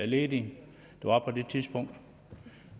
ledige der var på det tidspunkt